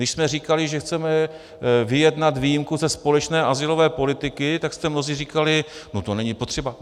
Když jsme říkali, že chceme vyjednat výjimku ze společné azylové politiky, tak jste mnozí říkali "no to není potřeba".